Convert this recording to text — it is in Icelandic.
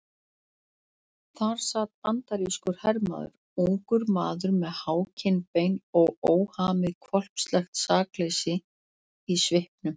Þar sat bandarískur hermaður, ungur maður með há kinnbein og óhamið hvolpslegt sakleysi í svipnum.